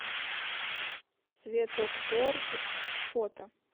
цветоптторг фото